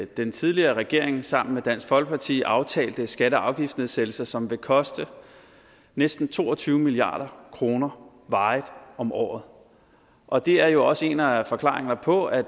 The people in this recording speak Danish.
den tidligere regering sammen med dansk folkeparti aftalte skatte og afgiftsnedsættelser som vil koste næsten to og tyve milliard kroner varigt om året og det er jo også en af forklaringerne på at